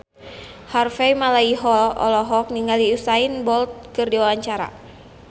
Harvey Malaiholo olohok ningali Usain Bolt keur diwawancara